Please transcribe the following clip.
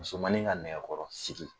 Musomannin ka nɛgɛkɔrɔsigi